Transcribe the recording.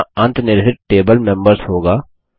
यहाँ अंतनिर्हित table members होगा